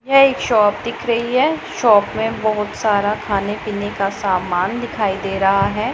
यह एक शॉप दिख रही है शॉप में बहोत सारा खाने पीने का सामान दिखाई दे रहा है।